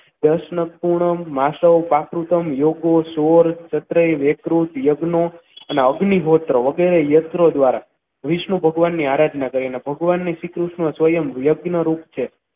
પ્રશ્ન પુનમ માનવ પ્રાકૃતમ યોગ સોળ યકૃત નો અને અગ્નિહોત્ર વગેરે અસ્ત્રો દ્વારા વિષ્ણુ ભગવાનની આરાધના કરી અને ભગવાનના શ્રીકૃષ્ણ સ્વયમ યજ્ઞરૂપ છે.